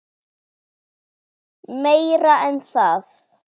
Meira en það.